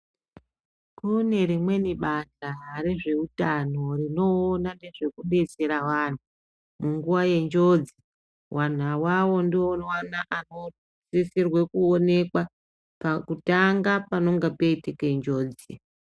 Kune rimweni bantha rezveutano rinoona ngezvekubetsera vanhu munguwo yenjodzi vano avavo ndivona vanosisirwe kuonekwa pakutanga panonga paitike njodzi.